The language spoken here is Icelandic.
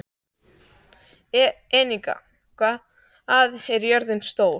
Enika, hvað er jörðin stór?